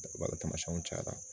Tamasiyɛnw cayara